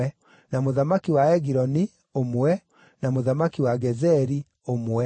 na mũthamaki wa Egiloni, ũmwe, na mũthamaki wa Gezeri, ũmwe,